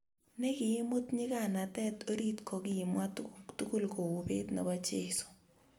ne kiimut nyikanet orit ko kimwa tukuk tugul kou bet ne bo jeso